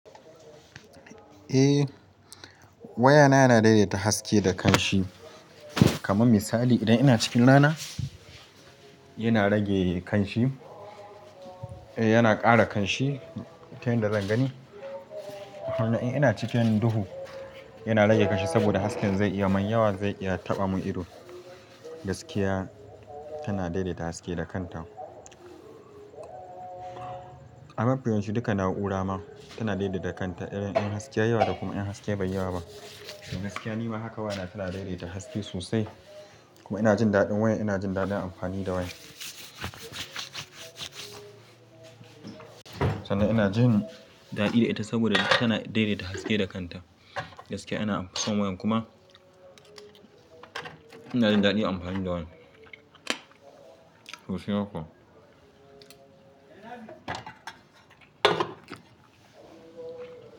Eh wayana yana daidaita haske da kanshi. Kaman misali idan ina cikin rana yana rage kanshi, eh yana ƙara kanshi ta yanda zan gani. Ina cikin duhu yana rage kan shi saboda haske zai iya man yawa zai iya taɓa mun ido. Gaskiya tana daidaita haske da kanta. A mafi yawancin duka na'ura ma tana daidaita kanta irin ɗan haske yawa da kuma ɗan haske bai yawa ba. Gaskiya nima haka waya na tana daidaita haske sosai kuma ina jin daɗin wayan ina jin daɗin amfani da wayan. Sannan ina jin daɗi da ita saboda tana daidaita haske da kanta. Gaskiya ina son wayan kuma ina jin daɗin amfani da wayan. Sosai haka.